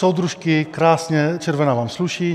Soudružky - krásně - červená vám sluší.